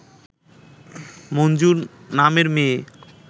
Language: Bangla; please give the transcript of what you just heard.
মঞ্জু নামের মেয়ে